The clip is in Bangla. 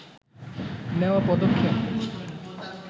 নেওয়া পদক্ষেপ